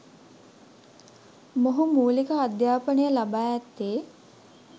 මොහු මූලික අධ්‍යාපනය ලබා ඇත්තේ